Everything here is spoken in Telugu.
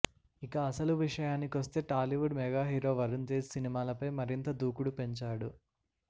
ఇక అసలు విషయాని కొస్తే టాలీవుడ్ మెగా హీరో వరుణ్ తేజ్ సినిమాలపై మరింత దూకుడు పెంచాడు